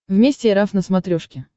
вместе эр эф на смотрешке